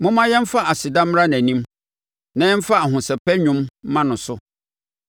Momma yɛmfa aseda mmra nʼanim, na yɛmfa ahosɛpɛ nnwom mma no so.